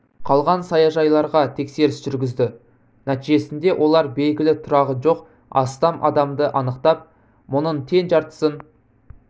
қалған саяжайларға тексеріс жүргізді нәтижесінде олар белгілі тұрағы жоқ астам адамды анықтап мұның тең жартысын